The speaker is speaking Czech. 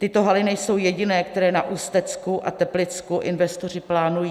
Tyto haly nejsou jediné, které na Ústecku a Teplicku investoři plánují.